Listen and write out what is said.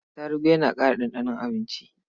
Atarugu yana ƙara ɗanɗanon abinci.